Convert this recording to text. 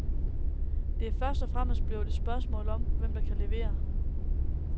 Det er først og fremmest blevet et spørgsmål om, hvem der kan levere.